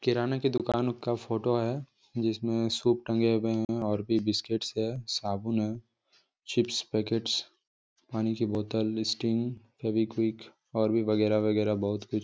किराना की दुकान का फ़ोटो है जिसमे सूप टंगे हुए है और भी बिस्किट्स है साबुन है चिप्स पकेट्स पानी की बोतल स्टिंग फेविकविक और भी वगैरा वगैरा बहुत कुछ।